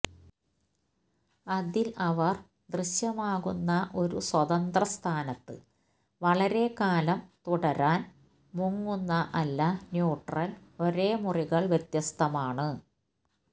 അതിൽ അവർ ദൃശ്യമാകുന്ന ഒരു സ്വതന്ത്ര സ്ഥാനത്ത് വളരെക്കാലം തുടരാൻ മുങ്ങുന്ന അല്ല ന്യൂട്രൽ ഒരേ മുറികൾ വ്യത്യസ്തമാണ്